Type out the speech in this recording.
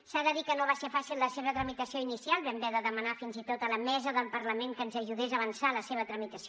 s’ha de dir que no va ser fàcil la seva tramitació inicial vam haver de demanar fins i tot a la mesa del parlament que ens ajudés a avançar la seva tramitació